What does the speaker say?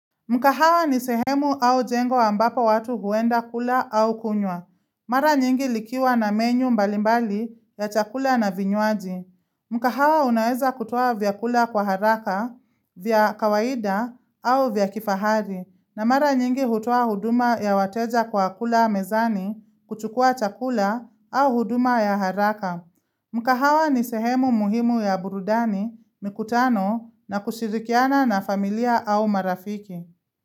Mkahawa ni sehemu au jengo ambapo watu huenda kula au kunywa. Mara nyingi likiwa na menyu mbalimbali ya chakula na vinyuaji. Mkahawa unaeza kutowa vyakula kwa haraka, vya kawaida au vya kifahari. Na mara nyingi hutowa huduma ya wateja kwa kula mezani kuchukua chakula au huduma ya haraka. Mkahawa ni sehemu muhimu ya burudani, mikutano na kushirikiana na familia au marafiki.